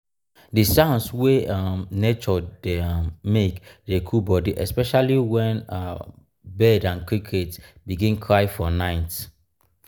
di sounds wey um nature dey um make dey cool body especially wen um bird and cricket begin cry for nite.